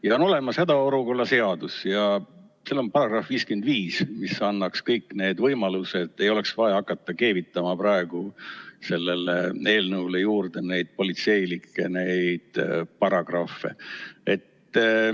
Ja on olemas hädaolukorra seadus ja seal on § 55, mis annaks kõik need võimalused, ei oleks vaja hakata keevitama praegu sellele eelnõule juurde neid politseilikke paragrahve.